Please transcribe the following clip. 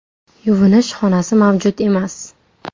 Yuvinish xonasi mavjud emas.